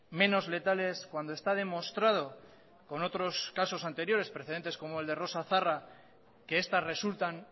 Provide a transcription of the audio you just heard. menos letales cuando está demostrado con otros casos anteriores precedentes como el de rosa zarra que estas resultan